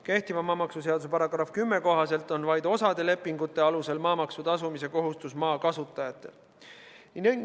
Kehtiva maamaksuseaduse § 10 kohaselt on vaid osa lepingute alusel maamaksu tasumise kohustus maa kasutajatel.